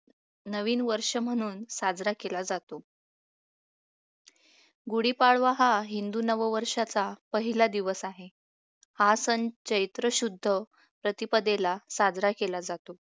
नवीन वर्ष म्हणून साजरा केला जातो गुढीपाडवा हा हिंदू नववर्षाचा पहिला दिवस आहे हा सण चैत्रशुद्ध प्रतिपदेला साजरा केला जातो